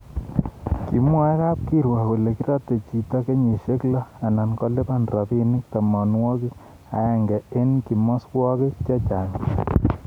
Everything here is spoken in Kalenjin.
kimwa kab kirwok kole kiratei chito kenyishe lo anan kolipan robinik tamanwakik aeng eng kimoswokik chechang bik